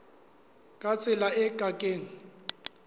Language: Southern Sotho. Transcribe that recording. ka tsela e ke keng